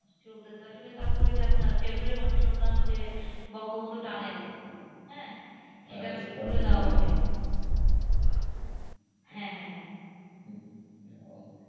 চলতেছে, আসলে তারপরও আপনার ফেব্রুয়ারি মাসে শুনলাম যে বঙ্গবন্ধু টানেল, সেটা নাকি খুলে দেওয়া হবেহ্যাঁ হ্যাঁ হ্যাঁ,